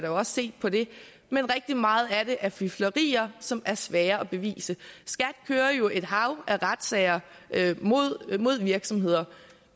også set på det men rigtig meget af det er fiflerier som er svære at bevise skat kører jo et hav af retssager mod virksomheder